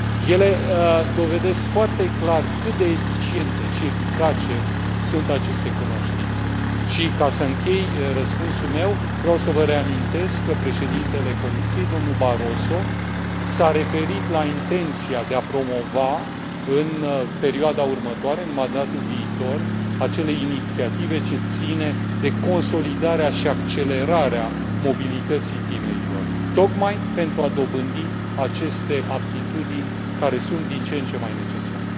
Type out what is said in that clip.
Ele dovedesc foarte clar cât de eficiente și eficace sunt aceste cunoștințe și, ca să închei răspunsul meu, vreau să vă reamintesc că președintele Comisiei, domnul Barroso s a referit la intenția de a promova în perioada următoare, în mandatul viitor, acele inițiative ce țin de consolidarea și accelerarea mobilității tinerilor, tocmai pentru a dobândi aceste aptitudini care sunt din ce în ce mai necesare.